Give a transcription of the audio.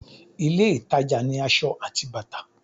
ilé ìtajà ni asọ ati bàtà